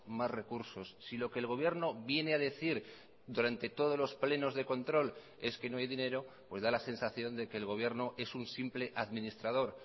más recursos si lo que el gobierno viene a decir durante todos los plenos de control es que no hay dinero pues da la sensación de que el gobierno es un simple administrador